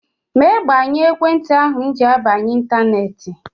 Mee gbanyụọ ekwentị ahụ m ji abanye ịntaneetị!